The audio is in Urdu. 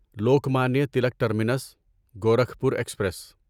Lokmanya Tilak terminus Gorakhpur express